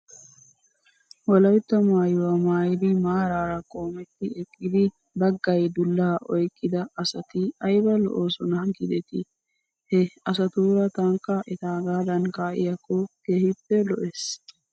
Wolatta maayuwaa maayidi maaraara qoometti eqqidi baggay dullaa oyqqida asati ayba lo'oosona giidetii? He asatuura tankka etaagaadan kaa'iyaakko keehippe lo'es.